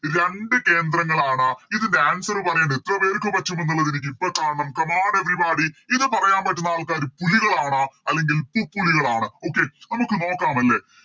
രണ്ട്‍ കേന്ദ്രങ്ങളാണ് ഇതിൻറെ Answer പറയേണ്ടത് എത്ര പേർക്ക് പറ്റും എന്നുള്ളത് എനിക്കിപ്പോ കാണണം Come on everybody ഇത് പറയാൻ പറ്റുന്ന ആൾക്കാര് പുലികളാണ് അല്ലെങ്കിൽ പുപ്പുലികളാണ് Okay നമുക്ക് നോക്കാം അല്ലെ